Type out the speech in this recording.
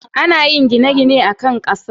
ana yin gine-gine akan Kasa